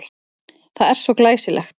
Það er svo glæsilegt.